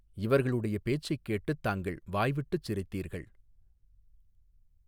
இவர்களுடைய பேச்சைக் கேட்டுத் தாங்கள் வாய் விட்டுச் சிரித்தீர்கள்.